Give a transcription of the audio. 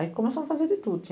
Aí começamos a fazer de tudo.